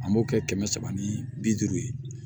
An b'o kɛ kɛmɛ saba ni bi duuru ye